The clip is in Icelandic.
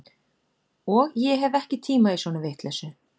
Og ég hef ekki tíma í svona vitleysu